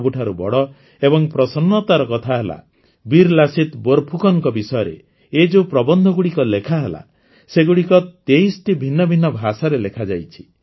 ସବୁଠାରୁ ବଡ଼ ଏବଂ ପ୍ରସନ୍ନତାର କଥା ହେଲା ବୀରଲାସିତ ବୋରଫୁକନଙ୍କ ବିଷୟରେ ଏ ଯେଉଁ ପ୍ରବନ୍ଧଗୁଡ଼ିକ ଲେଖାହେଲା ସେଗୁଡ଼ିକ ତେଇଶଟି ଭିନ୍ନ ଭିନ୍ନ ଭାଷାରେ ଲେଖାଯାଇଛି